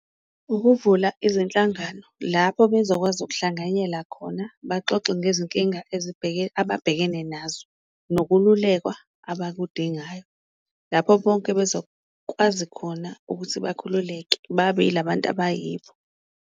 Ukuvula izinhlangano lapho bezokwazi ukuhlanganyela khona baxoxe ngezinkinga ababhekene nazo, nokululekwa abakudingayo lapho bonke bezokwazi khona ukuthi bakhululeke babe ilabantu abayibo.